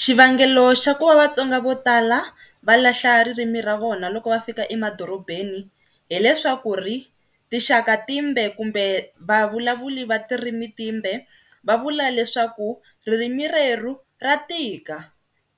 Xivangelo xa kuva Vatsonga vo tala va lahla ririmi ra vona loko va fika emadorobeni hileswaku ri tinxaka timbe kumbe vavulavuli va tirimi timbe va vula leswaku ririmi reru ra tika